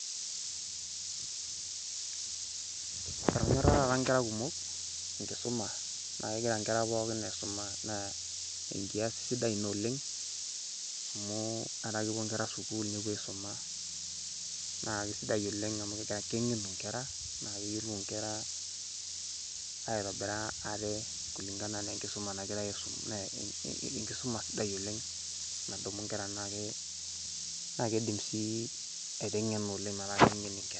Eshomo taata inkera kumok inkusuma, naa kegira inkera pookin aisuma nee enkiasi sidai ina oleng amuu etaa kepo inkera sukuul nepo aisuma naa kesidai oleng amuu kengenu inkera naa keyiolou inkera aitobira ate kulingana naa oo enkisuma nagirai aisum naa enkisuma sidai oleng nadumu inkera anaake naa keidim sii aitengena olenga metaa kengeni inkera.